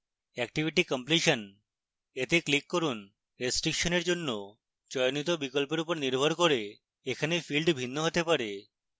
activity completion we click করুন restriction এর জন্য চয়নিত বিকল্পের উপর নির্ভর করে এখানে fields ভিন্ন হতে হবে